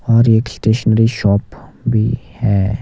और एक stationery shop भी है।